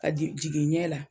jigin ɲɛ la.